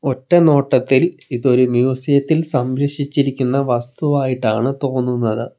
ഒറ്റ നോട്ടത്തിൽ ഇതൊരു മ്യൂസിയത്തിൽ സംരക്ഷിച്ചിരിക്കുന്ന വസ്തുവായിട്ടാണ് തോന്നുന്നത്.